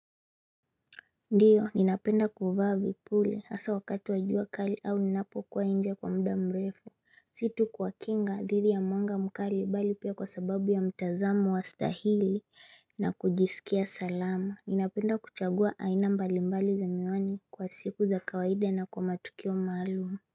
Ndiyo ninapenda kuvaa vipuli hasa wakati wajua kali au ninapo kuwa nje kwa muda mrefu Si tu kwa kinga dhidi ya mwanga mkali bali pia kwa sababu ya mtazamo wa stahili na kujisikia salama. Ninapenda kuchagua aina mbalimbali za miwani kwa siku za kawaida na kwa matukio maalum.